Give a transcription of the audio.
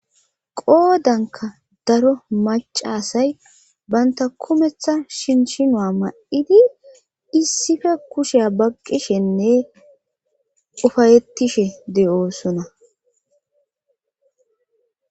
qoodanka daro macasay banta kumeththa shinchinua ma7idi issife kushea baqqishenne ufayettishe de7oosona